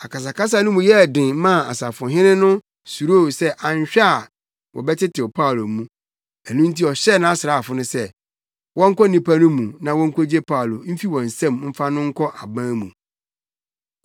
Akasakasa no mu yɛɛ den maa ɔsafohene no suroo sɛ anhwɛ a wɔbɛtetew Paulo mu; ɛno nti ɔhyɛɛ nʼasraafo sɛ, wɔnkɔ nnipa no mu na wonkogye Paulo mfi wɔn nsam mfa no nkɔ aban mu.